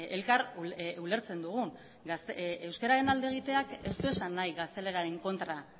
elkar ulertzen dugun euskararen alde egiteak ez du esan nahi gazteleraren kontra